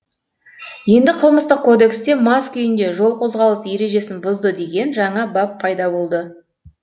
енді қылмыстық кодексте мас күйінде жол қозғалыс ережесін бұзды деген жаңа бап пайда болды